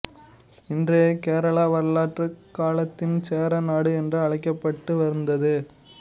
இன்றைய கேரளா வரலாற்று காலத்தில் சேர நாடு என்று அழைக்கப்பட்டு வந்தது